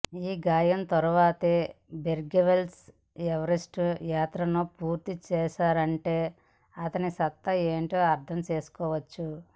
ఈ గాయం తర్వాతే బేర్గ్రిల్స్ ఎవరెస్టు యాత్రను పూర్తి చేశాడంటే అతని సత్తా ఏంటో అర్థం చేసుకోవచ్చు